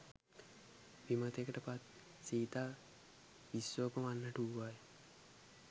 විමතියට පත් සීතා විස්සෝප වන්නට වූවා ය.